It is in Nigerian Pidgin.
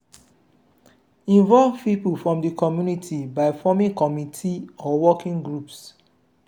involve different pipo from di community by forming committe or working groups